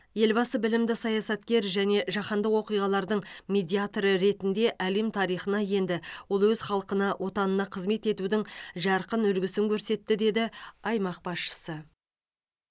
елбасы білімді саясаткер және жаһандық оқиғалардың медиаторы ретінде әлем тарихына енді ол өз халқына отанына қызмет етудің жарқын үлгісін көрсетті деді аймақ басшысы